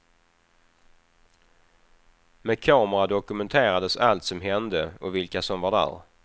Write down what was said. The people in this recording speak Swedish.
Med kamera dokumenterades allt som hände och vilka som var där.